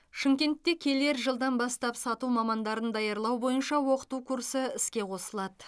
шымкентте келер жылдан бастап сату мамандарын даярлау бойынша оқыту курсы іске қосылады